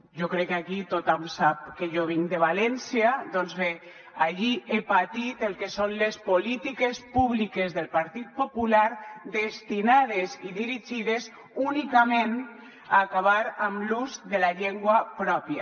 jo crec que aquí tothom sap que jo vinc de valència doncs bé allí he patit el que són les polítiques públiques del partit popular destinades i dirigides únicament a acabar amb l’ús de la llengua pròpia